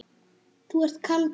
Þú ert kaldur!